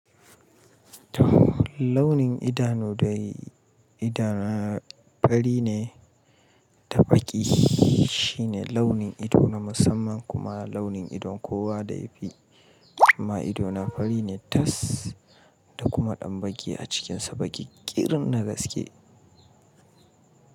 Launin idanu dai idanu fari ne da baƙi, shine launin ido na musamman kuma launin idon kowa da ya fi, amma ido na fari ne tas da kuma ɗan baƙi a cikinsa, baƙi ƙirin na gaske.